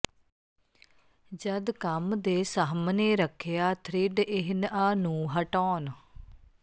ਜਦ ਕੰਮ ਦੇ ਸਾਹਮਣੇ ਰੱਖਿਆ ਥਰਿੱਡ ਇਹਨਆ ਨੂੰ ਹਟਾਉਣ